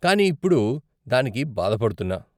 కానీ ఇప్పుడు దానికి బాధపడుతున్నా.